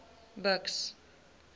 buks